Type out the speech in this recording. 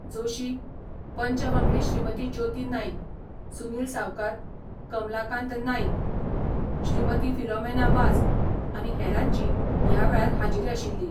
जोशी, पंच वांगडी श्रीमती ज्योती नाईक, सुनील सावकार, कमलाकांत नाईक, श्रीमती फिलोमेना वाज आनी हेरांची ह्या वेळार हाजिरी आशिल्ली.